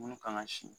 Minnu kan ka si